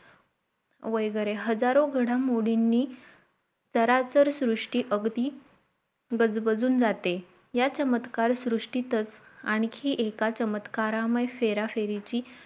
वेगरे हजारो घडामोडींनी सरासर श्रुष्टि अगदी बजबाजून जाते या चमत्कार श्रुष्टितच आणखीएका चमत्कारामय फेराफेरीची